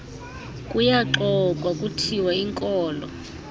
kuyaxoxwa kuthiwa inkolo